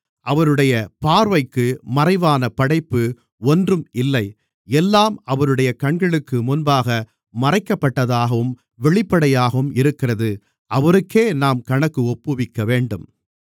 அவருடைய பார்வைக்கு மறைவான படைப்பு ஒன்றும் இல்லை எல்லாம் அவருடைய கண்களுக்குமுன்பாக மறைக்கப்படாததாகவும் வெளிப்படையாகவும் இருக்கிறது அவருக்கே நாம் கணக்கு ஒப்புவிக்கவேண்டும்